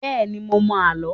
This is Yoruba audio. Bẹ́ẹ̀ ni, mo mọ àlọ́.